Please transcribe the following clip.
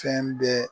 Fɛn bɛɛ